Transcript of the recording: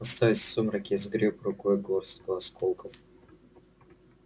оставаясь в сумраке я сгрёб рукой горстку осколков